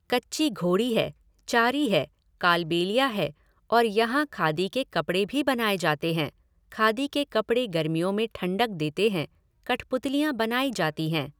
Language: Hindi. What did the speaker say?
कच्ची घोड़ी है, चारी है, कालबेलिया है और यहाँ खादी के कपड़े भी बनाए जाते हैं, खादी के कपड़े गर्मियों में ठंडक देते हैं, कठपुतलियाँ बनाई जाती हैं